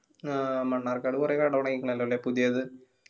ആ മണ്ണാര്ക്കാട് കൊറേ കട തൊടങ്യിക്കണല്ലോ ല്ലേ പുതിയത്